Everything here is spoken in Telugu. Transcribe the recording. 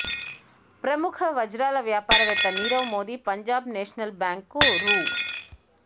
ప్రముఖ వజ్రాల వ్యాపారవేత్త నీరవ్ మోడీ పంజాబ్ నేషనల్ బ్యాంక్ను రూ